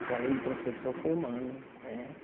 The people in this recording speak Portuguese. Que além de professor, foi humano, né?